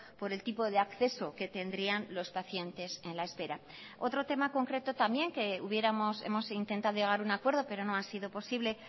por el tipo de acceso que tendrían los pacientes en la espera otro tema concreto también que hemos intentado llegar a un acuerdo pero no ha sido posible